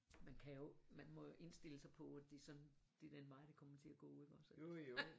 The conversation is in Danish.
Man kan jo man må jo indstille sig på at det sådan det den vej det kommer til at gå ikke også altså